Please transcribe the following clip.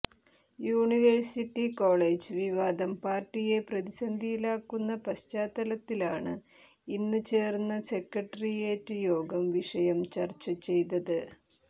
university college വിവാദം പാര്ട്ടിയെ പ്രതിസന്ധിയിലാക്കുന്ന പശ്ചാത്തലത്തിലാണ് ഇന്ന് ചേര്ന്ന സെക്രട്ടറിയേറ്റ് യോഗം വിഷയം ചര്ച്ച ചെയ്തത്